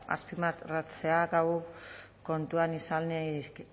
azpimarratzea gaur kontuan izanik